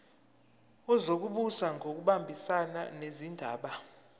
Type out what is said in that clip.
wezokubusa ngokubambisana nezindaba